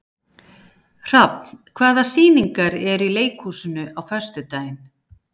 Hrafn, hvaða sýningar eru í leikhúsinu á föstudaginn?